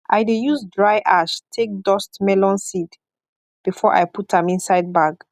i dey use dry ash take dustmelon seed before i put am inside bag